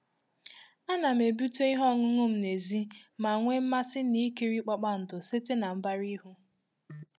Ana m ebute ihe ọṅụṅụ m n'èzí ma nwee mmasị na ikiri kpakpando site na mbara ihu.